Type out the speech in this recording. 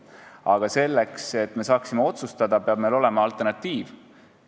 Aga selleks, et me saaksime otsustada, peab meil olema alternatiiv teada.